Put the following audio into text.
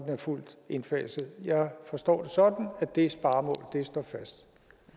er fuldt indfaset jeg forstår det sådan at det sparemål står fast